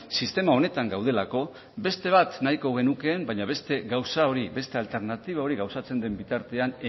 sistema honetan gaudelako beste nahiko genukeen baina beste gauza hori beste alternatiba hori gauzatzen den bitartean